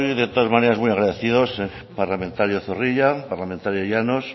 de todas maneras muy agradecido parlamentario zorrilla parlamentaria llanos